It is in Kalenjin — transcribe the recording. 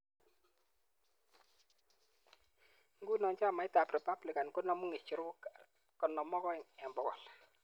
Nguno chamaitab Republican konamu ng'echerok 52 eng 100.